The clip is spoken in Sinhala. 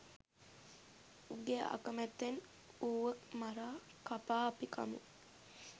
උගේ අකමැත්තෙන් ඌව මරා කපා අපි කමු.